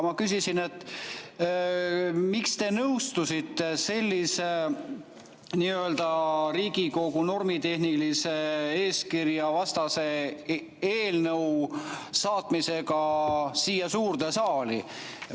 Ma küsisin, miks te nõustusite sellise nii-öelda Riigikogu normitehnilise eeskirja vastase eelnõu saatmisega siia suurde saali.